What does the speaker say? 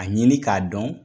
A ɲini k'a dɔn